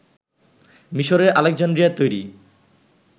মিসরের আলেকজান্দ্রিয়ায় তৈরি